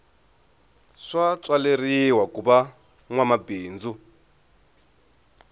swa tswaleriwa kuva nwa mabindzu